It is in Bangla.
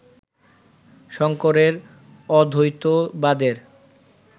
শঙ্করের অদ্বৈতবাদের